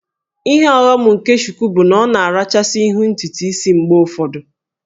Ihe ọghọm nke Shuku bụ na ọ na-arachasị ihu ntutu isi mgbe ụfọdụ